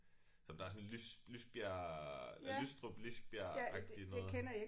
Som der er sådan lys Lisbjerg Lystrup Lisbjerg agtigt noget